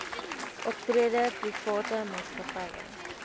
optrede private maatskappye